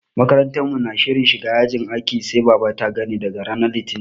Makarantar mu na shirin shiga yajin aikin sai baba ta gani daga ranar Litinin.